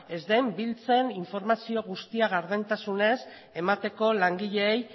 ez den biltzen informazio guztia gardentasunez emateko langileei